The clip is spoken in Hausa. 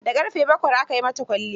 Da ƙarfe bakwai aka yi mata kwalliyar.